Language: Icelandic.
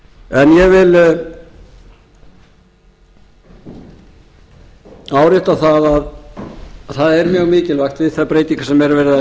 en ég vil árétta að það er mjög mikilvægt við þær breytingar sem er verið að